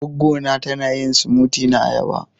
Gwaggo na ta na yin " smoothie " na ayaba.